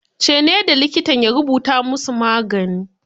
Ce ne da likitan ya rubuta mu su magani